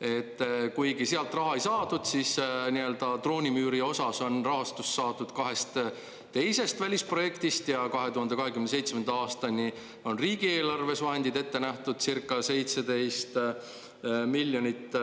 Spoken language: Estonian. et kuigi sealt raha ei saadud, siis nii-öelda droonimüüri osas on rahastus saadud kahest teisest välisprojektist ja 2027. aastani on riigieelarves vahendid ette nähtud circa 17 miljonit.